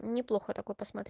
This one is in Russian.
неплохо так